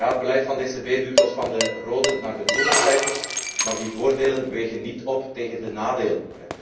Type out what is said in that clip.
Ja, het beleid van de ECB duwt ons van de rode naar de groene cijfers, maar die voordelen wegen niet op tegen de nadelen.